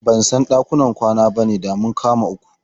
Ban san ɗakunan ƙanana bane, da mun kama uku.